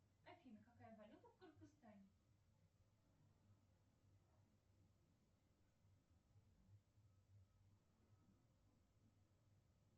афина какая валюта в кыргызстане